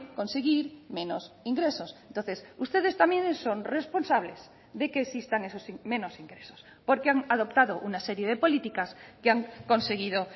conseguir menos ingresos entonces ustedes también son responsables de que existan esos menos ingresos porque han adoptado una serie de políticas que han conseguido